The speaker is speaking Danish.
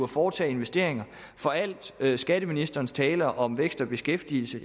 foretage investeringer al skatteministerens tale om vækst og beskæftigelse